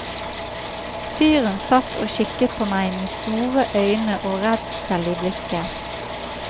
Fyren satt og kikket på meg med store øyne og redsel i blikket.